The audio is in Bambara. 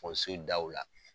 daw la.